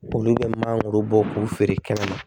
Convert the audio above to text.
Olu bɛ mangoro bɔ k'u feere kɛmɛ ma